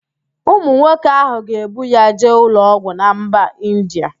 Ụmụ nwoke ahụ ga-ebu ya jee ụlọọgwụ na mba Indịa